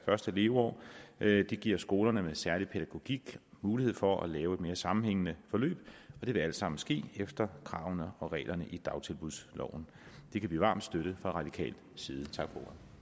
første leveår det giver skoler med særlig pædagogik mulighed for at lave et mere sammenhængende forløb og det vil altså ske efter kravene og reglerne i dagtilbudsloven det kan vi varmt støtte fra radikal side tak